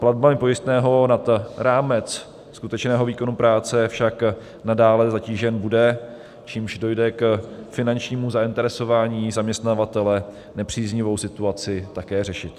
Platbami pojistného nad rámec skutečného výkonu práce však nadále zatížen bude, čímž dojde k finančnímu zainteresování zaměstnavatele nepříznivou situaci také řešit.